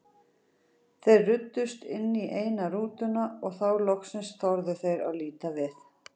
Þeir ruddust inn í eina rútuna og þá loksins þorðu þeir að líta við.